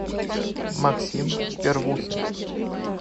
максим первухин